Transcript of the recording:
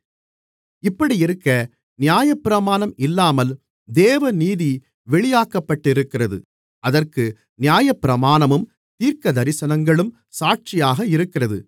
இப்படியிருக்க நியாயப்பிரமாணம் இல்லாமல் தேவநீதி வெளியாக்கப்பட்டிருக்கிறது அதற்கு நியாயப்பிரமாணமும் தீர்க்கதரிசனங்களும் சாட்சியாக இருக்கிறது